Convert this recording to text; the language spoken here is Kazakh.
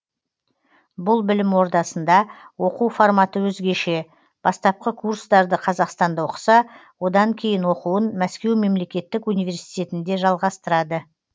бұл білім ордасында оқу форматы өзгеше бастапқы курстарды қазақстанда оқыса одан кейін оқуын мәскеу мемлектетік университетінде жалғастырады